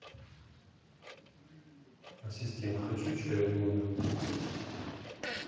ассистент хочу чаю в номер